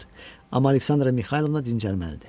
Amma Aleksandra Mixaylovna dincəlməlidir.